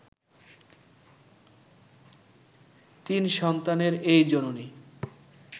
তিন সন্তানের এই জননী